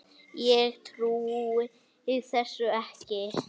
Ég trúi þessu ekki!